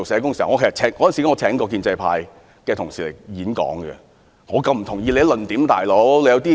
當時我曾邀請建制派人士演講，但我卻不同意他們的論點。